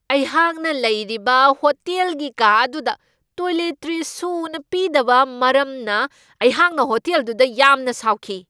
ꯑꯩꯍꯥꯛꯅ ꯂꯩꯔꯤꯕ ꯍꯣꯇꯦꯜꯒꯤ ꯀꯥ ꯑꯗꯨꯗ ꯇꯣꯏꯂꯦꯇ꯭ꯔꯤꯁ ꯁꯨꯅ ꯄꯤꯗꯕ ꯃꯔꯝꯅ ꯑꯩꯍꯥꯛꯅ ꯍꯣꯇꯦꯜꯗꯨꯗ ꯌꯥꯝꯅ ꯁꯥꯎꯈꯤ ꯫